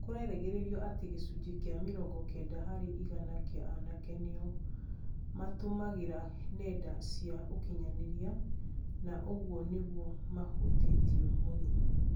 kũregerererio ati gĩcunji kĩa mĩrongo kenda harĩ igana kia anake nĩo , matumagira nenda cia ũkinyanĩria na uguo noguo mahutĩtio mũno